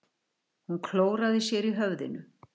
Hún klóraði sér í höfðinu.